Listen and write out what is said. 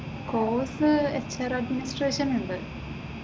Course HR administration ഉണ്ട്.